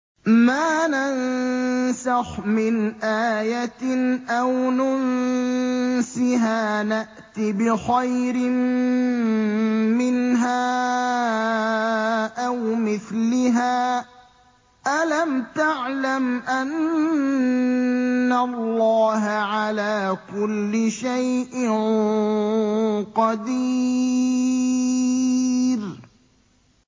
۞ مَا نَنسَخْ مِنْ آيَةٍ أَوْ نُنسِهَا نَأْتِ بِخَيْرٍ مِّنْهَا أَوْ مِثْلِهَا ۗ أَلَمْ تَعْلَمْ أَنَّ اللَّهَ عَلَىٰ كُلِّ شَيْءٍ قَدِيرٌ